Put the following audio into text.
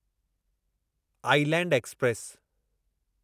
island express